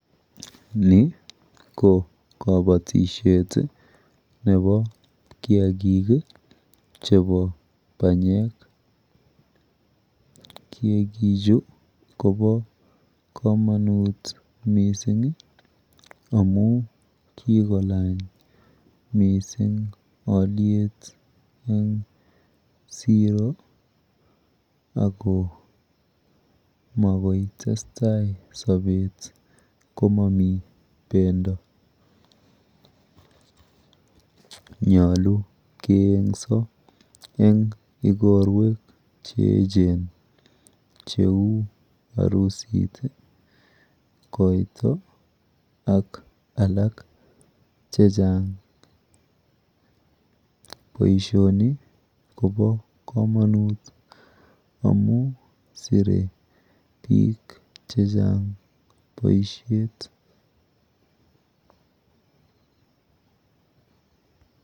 Ni ko kabatishet nepo kiakik chepo banyek. Kiakichu kopo komonut mising amu kikolany mising alyet eng siro ako makoitestai sopet komomi bendo. Nyolu keeng'so eng ikorwek cheechen kou harusit, koito ak ikorwek alak chechang. Boishoni kopo komonut amu sire biik chechang boishet.